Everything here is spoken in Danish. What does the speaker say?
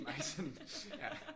Meget sådan ja